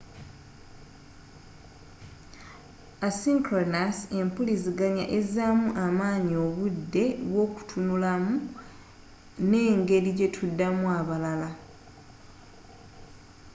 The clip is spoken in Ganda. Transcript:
asynchronous empuliziganya ezamu amaanyi obudde obw'okutunulamu n'engeri gyetuddamu abalala